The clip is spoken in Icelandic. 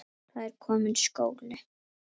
Það er kominn skóli.